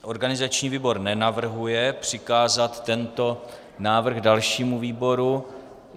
Organizační výbor nenavrhuje přikázat tento návrh dalšímu výboru.